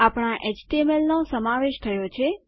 આપણા એચટીએમએલનો સમાવેશ થયો છે